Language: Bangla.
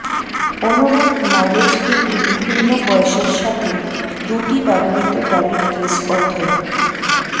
অনুরূপ মাইলেজ কিন্তু বিভিন্ন বয়সের সাথে দুটি ব্যবহৃত গাড়ির কেস অধ্যয়ন